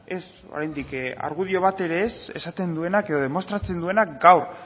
ez oraindik argudio bat ere ez esaten duenak edo demostratzen duenak gaur